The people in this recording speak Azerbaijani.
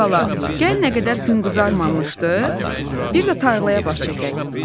"Ay bala, gəl nə qədər gün qızarmamışdı, bir də tarlaya baş çəkək.